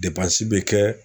bɛ kɛ